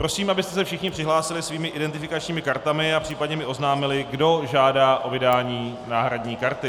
Prosím, abyste se všichni přihlásili svými identifikačními kartami a případně mi oznámili, kdo žádá o vydání náhradní karty.